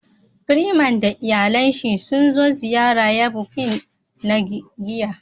"Freeman " da iyalen shi sun zo ziyara ya " boutique" na giya.